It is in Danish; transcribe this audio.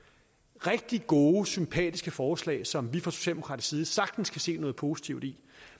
rigtig gode sympatiske forslag som vi fra socialdemokratisk side sagtens kan se noget positivt i